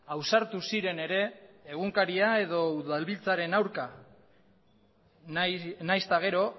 ausartu ziren ere egunkaria edo udalbiltzaren aurka nahiz eta gero